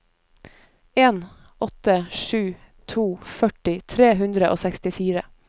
en åtte sju to førti tre hundre og sekstifire